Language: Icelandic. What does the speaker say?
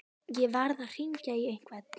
Ég varð að hringja í einhvern.